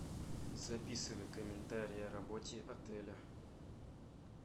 записывай комментарий о работе отеля